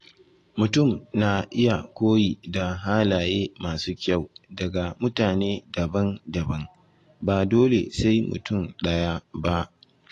Mutum na iya koyi da halaye masu kyau daga mutane daban-daban, ba dole sai mutum ɗaya ba.